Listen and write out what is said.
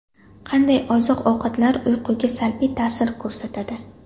Qanday oziq-ovqatlar uyquga salbiy ta’sir ko‘rsatadi?.